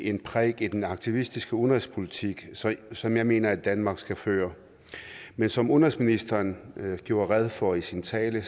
en prik i den aktivistiske udenrigspolitik som jeg mener danmark skal føre men som udenrigsministeren gjorde rede for i sin tale